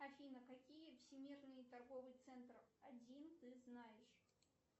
афина какие всемирные торговые центры один ты знаешь